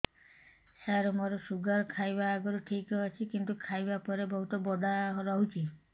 ସାର ମୋର ଶୁଗାର ଖାଇବା ଆଗରୁ ଠିକ ଅଛି କିନ୍ତୁ ଖାଇବା ପରେ ବହୁତ ବଢ଼ା ରହୁଛି